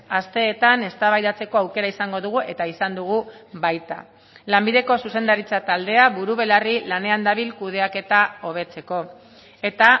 asteetan eztabaidatzeko aukera izango dugu eta izan dugu baita lanbideko zuzendaritza taldea buru belarri lanean dabil kudeaketa hobetzeko eta